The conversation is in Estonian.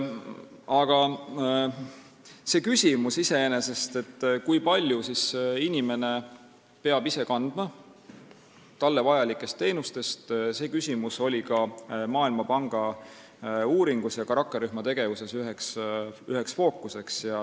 Aga see küsimus iseenesest, kui palju inimene peab ise rahastama talle vajalikke teenuseid, oli ka Maailmapanga uuringu ja rakkerühma tegevuse fookuses.